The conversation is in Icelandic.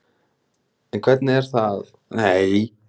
En hvernig er að halda einbeitingu þegar svo er?